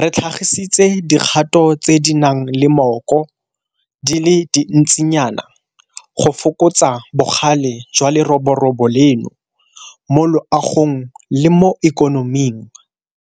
re tlhagisitse dikgato tse di nang le mmoko di le dintsinyana go fokotsa bogale jwa leroborobo leno mo loagong le mo ikonoming.